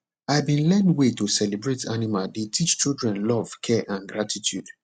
i been learn way to celebrate animal dey teach children love care and gratitude